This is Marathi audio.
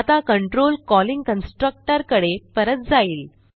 आता कंट्रोल कॉलिंग कन्स्ट्रक्टर कडे परत जाईल